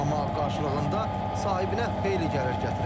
Amma qarşılığında sahibinə xeyli gəlir gətirir.